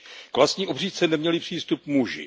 K vlastní obřízce neměli přístup muži.